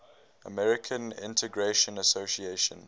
american integration association